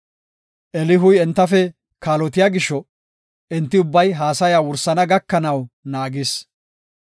Elihuy entafe kaalotiya gisho enti ubbay haasaya wursana gakanaw naagis.